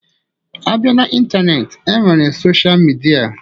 Abia na Ịntaneetị, e nwere soshal midia.